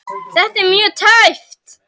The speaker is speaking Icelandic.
Þetta var mjög tæpt.